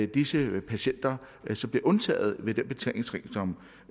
disse patienter blev undtaget ved den betalingsring som